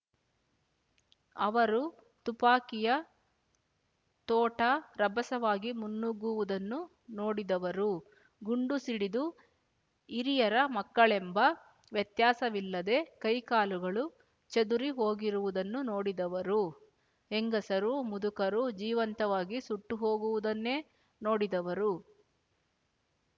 ಅವರು ತುಪಾಕಿಯ ತೋಟಾ ರಭಸವಾಗಿ ಮುನ್ನುಗ್ಗುವುದನ್ನು ನೋಡಿದವರು ಗುಂಡು ಸಿಡಿದು ಹಿರಿಯರ ಮಕ್ಕಳೆಂಬ ವ್ಯತ್ಯಾಸವಿಲ್ಲದೆ ಕೈಕಾಲುಗಳು ಚದುರಿ ಹೋಗಿರುವುದನ್ನು ನೋಡಿದವರು ಹೆಂಗಸರು ಮುದುಕರು ಜೀವಂತವಾಗಿ ಸುಟ್ಟುಹೋಗುವುದನ್ನೇ ನೋಡಿದವರು